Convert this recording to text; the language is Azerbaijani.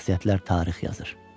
Şəxsiyyətlər tarix yazır.